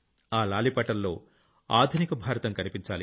ఆ లాలిపాటల్లో ఆధునిక భారతం కనిపించాలి